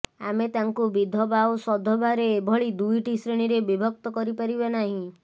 ଆମେ ତାଙ୍କୁ ବିଧବା ଓ ସଧବାରେ ଏଭଳି ଦୁଇଟି ଶ୍ରେଣୀରେ ବିଭକ୍ତ କରିପାରିବା ନାହିଁ